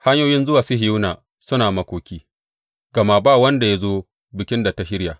Hanyoyin zuwa Sihiyona suna makoki, gama ba wanda ya zo bikin da ta shirya.